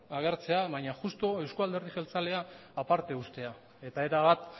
agertzea baina justu euzko alderdi jeltzalea aparte uztea eta erabat